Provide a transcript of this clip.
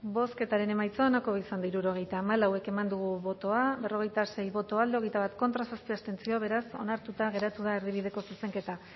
bozketaren emaitza onako izan da hirurogeita hamalau eman dugu bozka berrogeita sei boto alde hogeita bat contra zazpi abstentzio beraz onartuta geratu da erdibideko zuzenketa